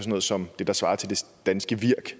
noget som det der svarer til det danske virk